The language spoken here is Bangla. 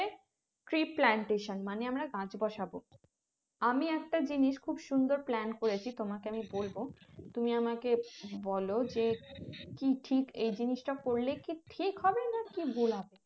tree plantation মানে আমরা গাছ বসাবো আমি একটা জিনিস খুব সুন্দর plan করেছি তোমাকে আমি বলবো তুমি আমাকে বোলো যে কি ঠিক এই জিনিসটা করলে কি ঠিক হবে না ভুল হবে